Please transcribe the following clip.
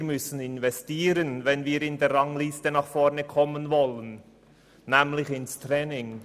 Wir müssen investieren, wenn wir in der Rangliste nach vorne kommen wollen, und zwar ins Training.